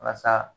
Walasa